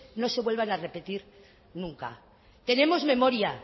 no se vuelvan a repetir nunca tenemos memoria